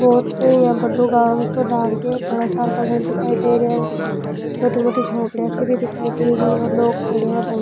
बहोत इया बड़ो गाँव सा लाग रियो है घना सार का घर दिखाई दे रिया है छोटी मोटी झोपड़िया सी भी दिखाई दे री और लोग खड़े है बहुत।